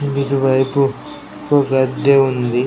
ఇటు వైపు ఒక దేవుడు ఉంది.